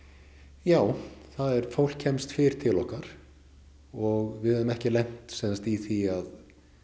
já fólk kemst fyrr til okkar og við höfum ekki lent í því að